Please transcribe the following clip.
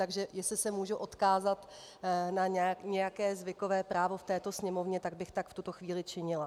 Takže jestli se mohu odkázat na nějaké zvykové právo v této Sněmovně, tak bych tak v tuto chvíli činila.